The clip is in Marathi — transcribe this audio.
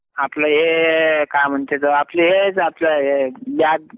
आपलं हे काय म्हणते त, आपलं हेच आपले हे